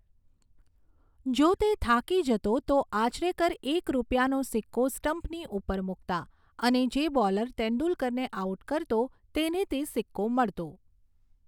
જો તે થાકી જતો, તો આચરેકર એક રૂપિયાનો સિક્કો સ્ટમ્પની ઉપર મૂકતા અને જે બોલર તેંદુલકરને આઉટ કરતો તેને તે સિક્કો મળતો.